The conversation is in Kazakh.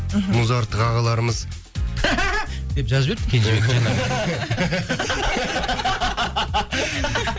мхм музарттық ағаларымыз деп жазып жіберіпті кенжебек жаңа